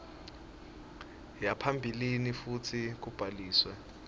yaphambilini futsi kubhaliswe